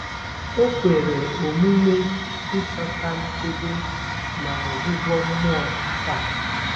O kwere omume ịchọta nchebe na ọgwụgwọ mmụọ taa